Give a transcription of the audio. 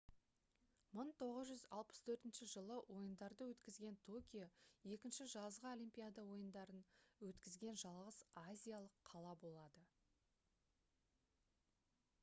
1964 жылы ойындарды өткізген токио 2 жазғы олимпиада ойындарын өткізген жалғыз азиялық қала болады